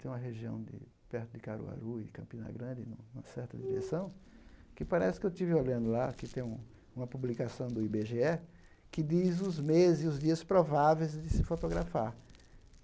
tem uma região de perto de Caruaru e Campina Grande, nu numa certa direção, que parece que eu estive olhando lá, que tem uma publicação do i bê gê é, que diz os meses e os dias prováveis de se fotografar.